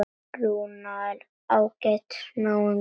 Rúnar er ágætis náungi.